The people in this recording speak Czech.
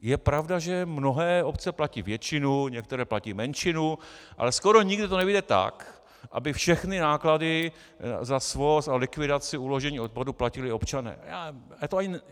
Je pravda, že mnohé obce platí většinu, některé platí menšinu, ale skoro nikdy to nevyjde tak, aby všechny náklady za svoz a likvidaci uložení odpadu platili občané.